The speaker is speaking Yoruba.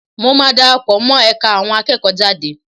Mo máa dara pọ̀ mọ́ ẹ̀ka àwọn akẹ́kọ̀ọ́jade